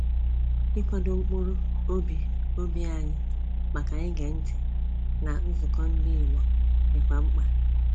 Ikwado mkpụrụ obi obi anyị maka ige ntị na nzukọ ndị Igbo dị kwa mkpa